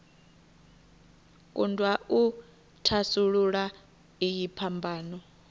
kundwa u thasulula iyi phambano